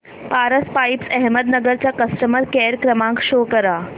Paras pipes Ahmednagar चा customer care क्रमांक show करा